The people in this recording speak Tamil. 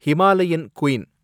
Himalayan queen